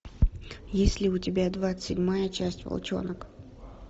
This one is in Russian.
есть ли у тебя двадцать седьмая часть волчонок